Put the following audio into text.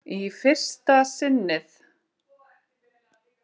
Í fyrsta sinnið.